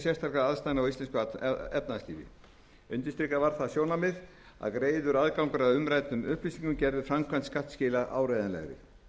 sérstakra aðstæðna í íslensku efnahagslífi undirstrikað var það sjónarmið að greiður aðgangur að umræddum upplýsingum gerði framkvæmd skattskila áreiðanlegri